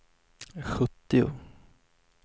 sjuttio